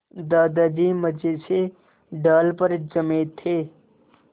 दादाजी मज़े से डाल पर जमे थे